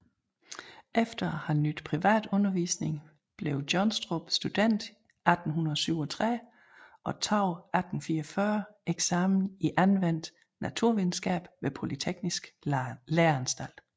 Efter at have nydt privat undervisning blev Johnstrup student 1837 og tog 1844 eksamen i anvendt naturvidenskab ved Polyteknisk Læreanstalt